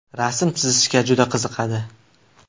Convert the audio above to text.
Rasm chizishga juda qiziqadi.